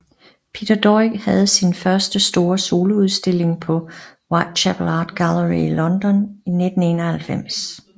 Peter Doig havde sin første store soloudstilling på Whitechapel Art Gallery i London i 1991